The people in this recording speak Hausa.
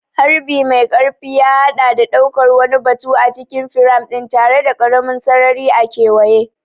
Harbi mai ƙarfi ya haɗa da ɗaukar wani batu a cikin firam ɗin tare da ƙaramin sarari a kewaye.